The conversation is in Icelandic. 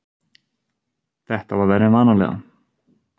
Þetta var verra en vanalega.